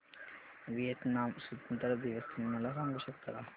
Vietnam स्वतंत्रता दिवस तुम्ही मला सांगू शकता का